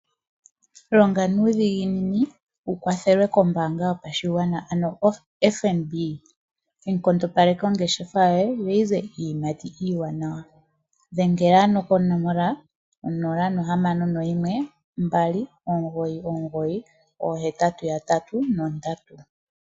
Longa nuudhiginini wu kwathelwe kombaanga yopashigwana ano FNB. Yi nkondopaleke ongeshefa yoye yo yi ze iiyimati iiwanawa. Dhengela ano konomola onola nohamano noyimwe mbali omugoyi omugoyi oohetatu yatatu nondatu.